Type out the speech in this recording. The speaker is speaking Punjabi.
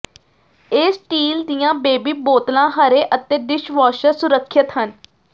ਇਹ ਸਟੀਲ ਦੀਆਂ ਬੇਬੀ ਬੋਤਲਾਂ ਹਰੇ ਅਤੇ ਡਿਸ਼ਵਾਸ਼ਰ ਸੁਰੱਖਿਅਤ ਹਨ